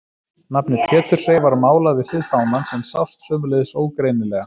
Nafnið Pétursey var málað við hlið fánans en sást sömuleiðis ógreinilega.